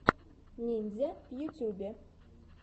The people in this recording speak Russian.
ниндзя в ютубе